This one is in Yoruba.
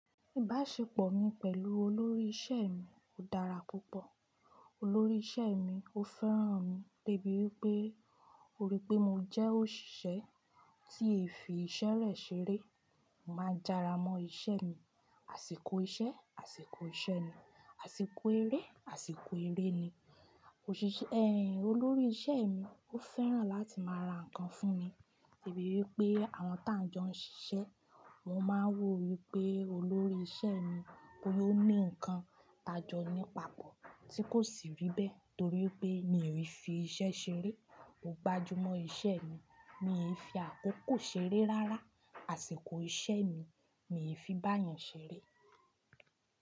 Ìbáṣepọ̀ mi pẹ̀lú olórí iṣẹ́ mi ó dára púpọ̀. Olórí iṣẹ́ mi ó fẹ́ràn mi debi wípé ó rí pé mo jẹ́ òṣìṣẹ́ tí ẹ̀ fi iṣẹ́ rẹ̀ ṣeré. Mo máa ń jára mọ́ iṣẹ́ mi, àsìkò iṣẹ́, àsìkò ìṣe ni, àsìkò eré, àsìkò eré ni. Ẹyin, olórí iṣẹ́ mi ó fẹ́ràn láti máa ra ǹkan fún mi debi wípé àwọn táǹjọ n ṣiṣẹ́, mo máa ń wò wípé olórí iṣẹ́ mi ó ní ǹkan tájọ ní pàpọ̀ tí kò sì rí bẹ́ẹ̀ torí pé mi ò i fi iṣẹ́ ṣeré. Mo gbájú mọ́ iṣẹ́ mi, mii fi àkókò ṣeré rárá, àsìkò iṣẹ́ mi, mii fi bá yàn ṣeré.